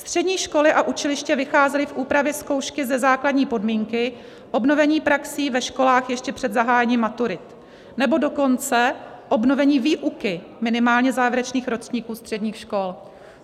Střední školy a učiliště vycházely v úpravě zkoušky ze základní podmínky obnovení praxí ve školách ještě před zahájením maturit, nebo dokonce obnovení výuky minimálně závěrečných ročníků středních škol.